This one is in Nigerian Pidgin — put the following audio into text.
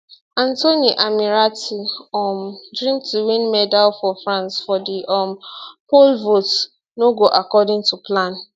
anthony ammirati um dream to win medal for france for di um pole vault no go according to plan